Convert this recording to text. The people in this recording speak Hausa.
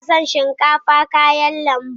Ina son shinkafa kayan lambu